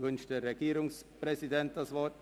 Wünscht der Regierungspräsident das Wort?